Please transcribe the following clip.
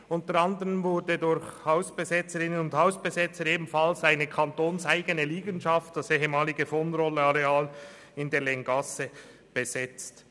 Unter anderem wurde durch Hausbesetzerinnen und Hausbesetzer ebenfalls eine kantonseigene Liegenschaft, das ehemalige vonRoll-Areal in der Länggasse, besetzt.